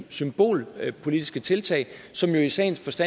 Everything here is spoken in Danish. symbolpolitiske tiltag som jo i sagens